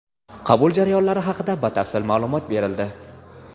qabul jarayonlari haqida batafsil maʼlumot berildi.